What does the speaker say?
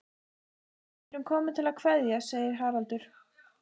Við erum komin til að kveðja, segir Haraldur.